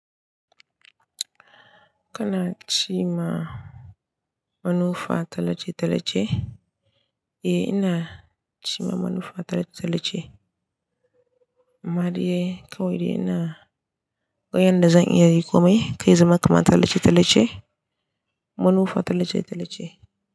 Kana cima manufa talace-talace? Eh, ina cima manufa talace-talace. Amma dai kawai ina ga yanda zan iya riƙo mai kai zama kaman talace-talace, manufa talace-talace.